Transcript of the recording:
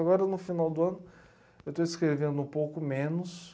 Agora, no final do ano, eu estou escrevendo um pouco menos.